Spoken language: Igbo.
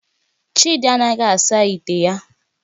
Chidi anaghi asa ite ya